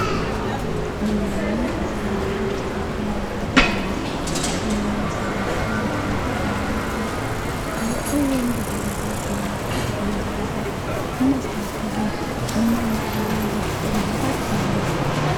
ዘመናዊ ዕሠራር ሓምስታኻድ መራት ቖይኑ ዘመናዊ ሠራር ሓምስታኻድ መብራቲ ኣዚኣውቶዎም ብታታታት መብራቲ እዚይዕቶም ቦታታታት መስተዉኸድን መመዕራርይን ዘርክ ምህረድ እዮም።